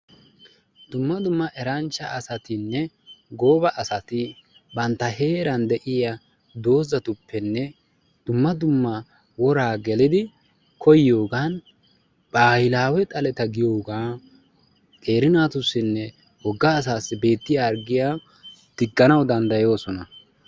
Dumma dumma eranchcha asatinne gooba asatinne bantta heeran de'iya doozatuppenne dumma dumma woraa gelidi koyiyogaa bahilaawe xaleta giyogaa qeeri naatussinne wogga asaassi beettiya harggiya digganawu danddayoosona.